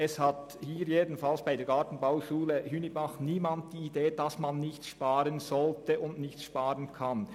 Es hat zumindest bei der Gartenbauschule Hünibach niemand die Idee, dass man nicht sparen solle und nicht sparen könne.